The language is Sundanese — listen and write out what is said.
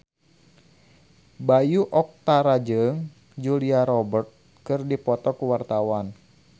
Bayu Octara jeung Julia Robert keur dipoto ku wartawan